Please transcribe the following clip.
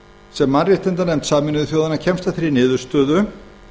sem mannréttindanefnd sameinuðu þjóðanna kemst að þeirri niðurstöðu